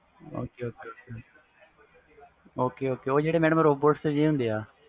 ok ok madam ਉਹ ਜਿਹੜੇ robot ਹੁੰਦੇ